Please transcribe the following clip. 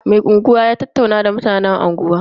Mai unguwa ya tattauna da mutan unguwa.